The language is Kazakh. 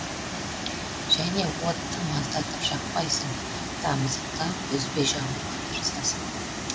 және отты маздатып жақпайсың тамызықтап үзбей жағуға тырысасың